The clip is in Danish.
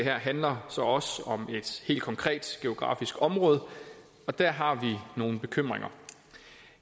handler så også om et helt konkret geografisk område og der har vi nogle bekymringer